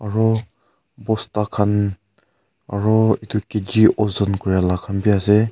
aru bosta khan aru itu kg ojon kurey lah khan bi ase.